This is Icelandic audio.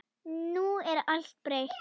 Nú er allt breytt.